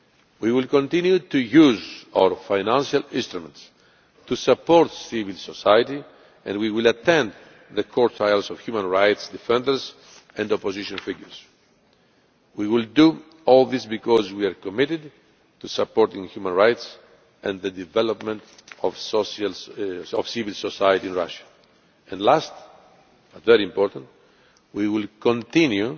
OSCE. We will continue to use our financial instruments to support civil society and we will attend the court trials of human rights' defenders and opposition figures. We will do all this because we are committed to supporting human rights and the development of civil society in Russia and lastly, but very importantly, we will continue